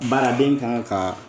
Baaraden kan kaa